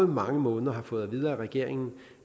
mange måneder har fået at vide af regeringen